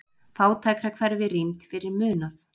Fátækrahverfi rýmd fyrir munað